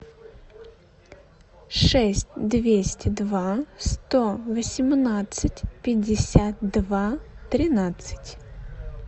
шесть двести два сто восемнадцать пятьдесят два тринадцать